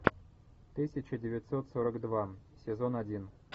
тысяча девятьсот сорок два сезон один